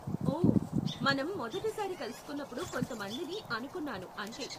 ఓ, మనం మొదటి సారి కలుసుకున్నప్పుడు కొంత మందిని అనుకున్నాను అంతే.